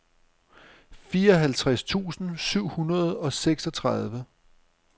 fireoghalvtreds tusind syv hundrede og seksogtredive